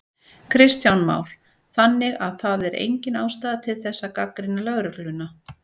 Kristján Már: Þannig að það er engin ástæða til þess að gagnrýna lögregluna?